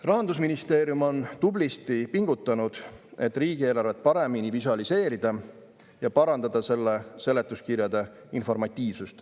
Rahandusministeerium on tublisti pingutanud, et riigieelarvet paremini visualiseerida ja parandada selle seletuskirjade informatiivsust.